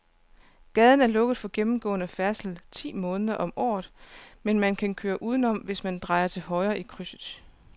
Gaden er lukket for gennemgående færdsel ti måneder om året, men man kan køre udenom, hvis man drejer til højre i krydset.